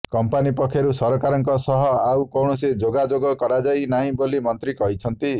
company ପକ୍ଷରୁ ସରକାରଙ୍କ ସହ ଆଉ କୌଣସି ଯୋଗାଯୋଗ କରାଯାଇ ନାହିଁ ବୋଲି ମନ୍ତ୍ରୀ କହିଛନ୍ତି